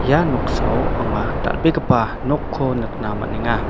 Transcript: ia noksao anga dal·begipa nokko nikna man·enga.